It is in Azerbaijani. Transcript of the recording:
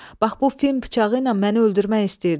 Bax bu fil bıçağı ilə məni öldürmək istəyirdi.